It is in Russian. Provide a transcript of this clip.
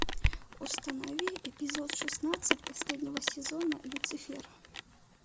установи эпизод шестнадцать последнего сезона люцифер